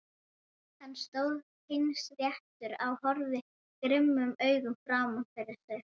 Hann stóð teinréttur og horfði grimmum augum fram fyrir sig.